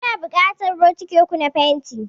Muna buƙatar bokiti uku na fenti.